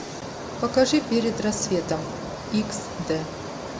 покажи перед рассветом икс д